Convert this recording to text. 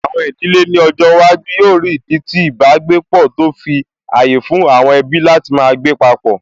Àwọn ìdílé ní ọjọ́ iwájú yóò rí ìdí tí ìbágbépọ̀, tó fi ààyè fún àwọn ẹbí láti máa gbé papọ̀